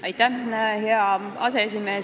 Hea aseesimees!